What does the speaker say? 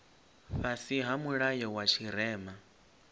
fhasi ha mulayo wa tshirema